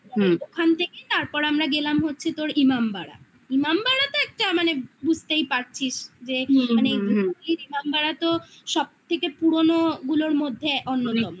ওখান থেকে তারপর আমরা গেলাম হচ্ছে তোর ইমামবাড়া ইমামবাড়া তো একটা মানে বুঝতেই পারছিস মানে ইমামবাড়া তো সব থেকে পুরনো গুলোর মধ্যে অন্যতম